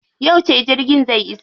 Yauce jirgin zai iso?